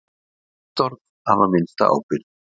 Fæst orð hafa minnsta ábyrgð.